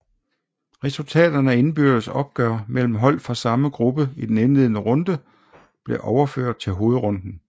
Resultaterne af indbyrdes opgør mellem hold fra samme gruppe i den indledende runde blev overført til hovedrunden